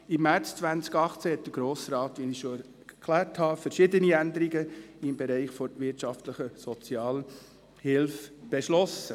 Im März 2018 hatte der Grosse Rat, wie ich bereits erklärt habe, verschiedene Änderungen im Bereich der wirtschaftlichen Sozialhilfe beschlossen.